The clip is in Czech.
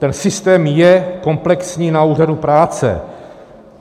Ten systém je komplexní na úřadu práce.